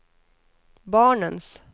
barnens